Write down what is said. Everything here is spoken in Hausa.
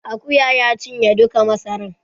Akuya ya cinye duka masaran